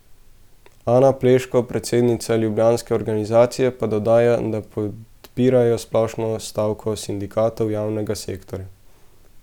Ana Pleško, predsednica ljubljanske organizacije, pa dodaja, da podpirajo splošno stavko sindikatov javnega sektorja.